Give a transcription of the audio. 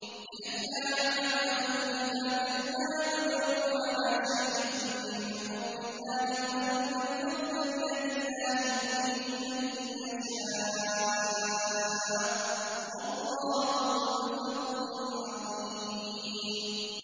لِّئَلَّا يَعْلَمَ أَهْلُ الْكِتَابِ أَلَّا يَقْدِرُونَ عَلَىٰ شَيْءٍ مِّن فَضْلِ اللَّهِ ۙ وَأَنَّ الْفَضْلَ بِيَدِ اللَّهِ يُؤْتِيهِ مَن يَشَاءُ ۚ وَاللَّهُ ذُو الْفَضْلِ الْعَظِيمِ